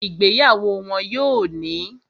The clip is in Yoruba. Ìgbéyàwó wọ́n yóò ní